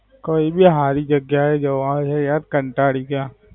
કય ભી હારી જગ્યા એ જવાય છે. યાર કાંટળી ગયા